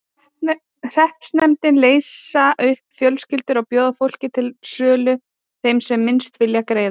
Hreppsnefndir leysa upp fjölskyldur og bjóða fólkið til sölu þeim sem minnst vill greiða.